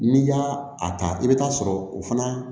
N'i y'a a ta i bɛ taa sɔrɔ o fana